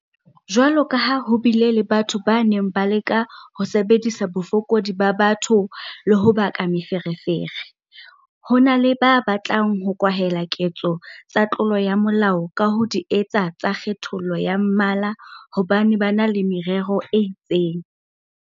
Jwalo ka ha ho bile le batho ba neng ba leka ho sebedisa bofokodi ba batho le ho baka meferefere, ho na le ba batlang ho kwahela ketso tsa tlolo ya molao ka ho di etsa tsa kgethollo ya mmala hobane ba na le merero e itseng.